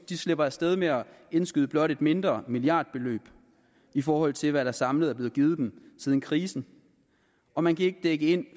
de slipper af sted med at indskyde blot et mindre milliardbeløb i forhold til hvad der samlet er blevet givet dem siden krisen og man kan ikke dække ind i